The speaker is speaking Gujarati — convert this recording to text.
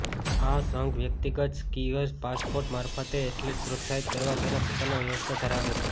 આ સંઘ વ્યક્તિગત સ્કીઅર પાસપોર્ટ મારફતે એથ્લેટ પ્રોત્સાહિત કરવા તેના પોતાના વ્યવસ્થા ધરાવે છે